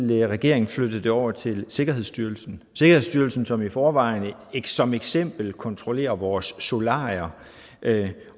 vil regeringen flytte det over til sikkerhedsstyrelsen sikkerhedsstyrelsen som i forvejen som eksempel kontrollerer vores solarier